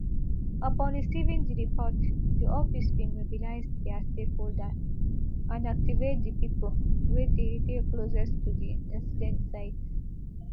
upon receiving di report di office bin mobilise dia stakeholders and activate di pipo wey dey closest to di incident site